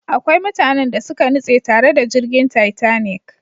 Akwai mutanen da suka nutse tare da jirgin Titanic.